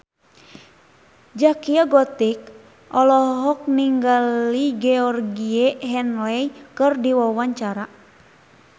Zaskia Gotik olohok ningali Georgie Henley keur diwawancara